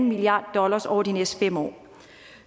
milliard dollar over de næste fem år